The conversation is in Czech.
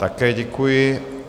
Také děkuji.